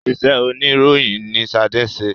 Ìṣe oníròyìn ni ṣade ń ṣe